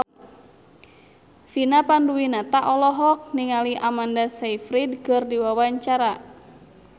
Vina Panduwinata olohok ningali Amanda Sayfried keur diwawancara